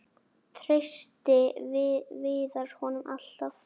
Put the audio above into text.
Treysti Viðar honum alltaf?